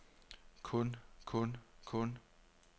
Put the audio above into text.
kun kun kun